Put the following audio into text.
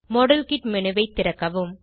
model kit menu ஐ திறக்கவும்